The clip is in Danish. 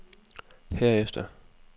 herefter